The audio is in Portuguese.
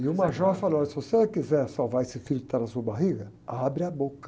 E o major falou, olha, se você quiser salvar esse filho que está na sua barriga, abre a boca.